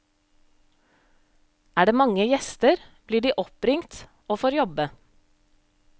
Er det mange gjester, blir de oppringt, og får jobbe.